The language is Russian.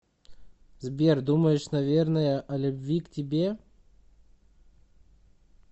сбер думаешь наверное о любви к тебе